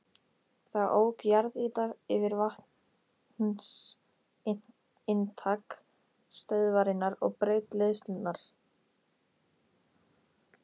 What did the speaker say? Þá ók jarðýta yfir vatnsinntak stöðvarinnar og braut leiðslurnar.